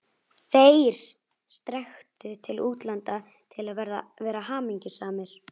ÞEIR strekktu til útlanda til að vera hamingjusamir.